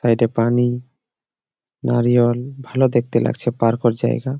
সাইটে পানি নারিয়াল ভালো লাগছে। পার্ক -ওর জায়গা।